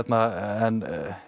en